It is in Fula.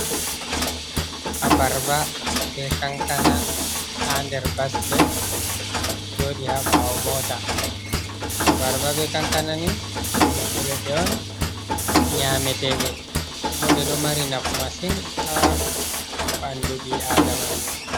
Aɓarɓa ɓe kankana ha nɗer basket, joɗi ha ɓawo mota abarba ɓe kankana ni ɗum ɓiɓɓe leɗɗe on nyameteɗe, ɓo ɗe ɗo mari nafu masin ha ɓanɗu bi aɗamajo.